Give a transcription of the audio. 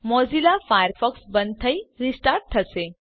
Mozilla Firefox બંધ થઈ restart થશે